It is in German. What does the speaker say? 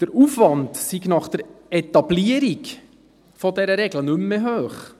Der Aufwand sei nach der Etablierung dieser Regel nicht mehr hoch;